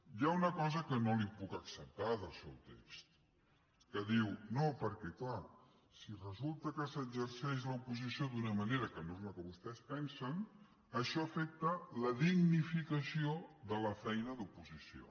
hi ha una cosa que no li puc acceptar del seu text que diu no perquè clar si resulta que s’exerceix l’oposició d’una manera que no és la que vostès pensen això afecta la dignificació de la feina d’oposició